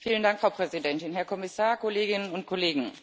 Frau Präsidentin, Herr Kommissar, Kolleginnen und Kollegen!